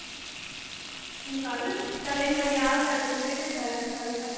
ਹੁਣ ਕੱਲ। ਚੱਲ ਇੱਕ ਵਾਰੀ ਆਹ ਕਰਲੋ ਪੂਰੀ, ਫਿਰ ਕਰਾਂਗੇ, ਕੱਲ ਕਰਲਾਂਗੇ।